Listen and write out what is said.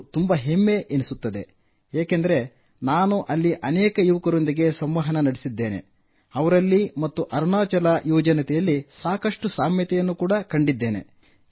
ಅದು ತುಂಬಾ ಹೆಮ್ಮೆ ಎನಿಸುತ್ತದೆ ಏಕೆಂದರೆ ನಾನು ಅಲ್ಲಿ ಅನೇಕ ಯುವಕರೊಂದಿಗೆ ಸಂವಹನ ನಡೆಸಿದ್ದೇನೆ ಅವರಲ್ಲಿ ಮತ್ತು ಅರುಣಾಚಲ ಯುವಜನತೆಯಲ್ಲಿ ಸಾಕಷ್ಟು ಸಾಮ್ಯತೆಯನ್ನು ಕಂಡಿದ್ದೇನೆ